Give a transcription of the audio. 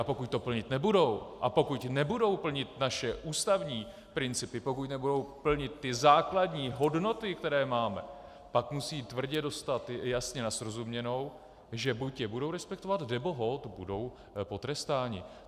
A pokud to plnit nebudou a pokud nebudou plnit naše ústavní principy, pokud nebudou plnit ty základní hodnoty, které máme, pak musí tvrdě dostat jasně na srozuměnou, že buď je budou respektovat, nebo holt budou potrestáni.